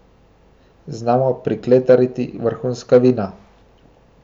Znamo prikletariti vrhunska vina.